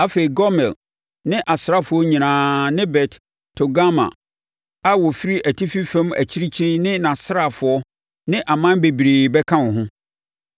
afei Gomer ne nʼasraafoɔ nyinaa ne Bet-Togarma a wɔfiri atifi fam akyirikyiri ne nʼasraafoɔ ne aman bebree bɛka wo ho.